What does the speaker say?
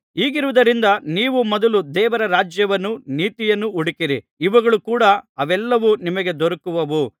ಹೀಗಿರುವುದರಿಂದ ನೀವು ಮೊದಲು ದೇವರ ರಾಜ್ಯವನ್ನೂ ನೀತಿಯನ್ನೂ ಹುಡುಕಿರಿ ಇವುಗಳ ಕೂಡ ಅವೆಲ್ಲವೂ ನಿಮಗೆ ದೊರಕುವವು